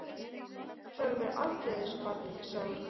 Ég afsala mér aldrei þessu barni, sagði hún.